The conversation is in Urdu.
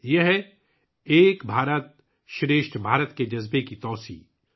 یہ 'ایک بھارتشریشٹھ بھارت' کے جذبے کی توسیع ہے